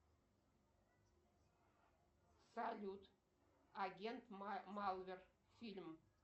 салют агент малвер фильм